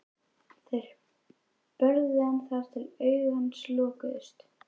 Þeir börðu hann þar til augu hans lokuðust.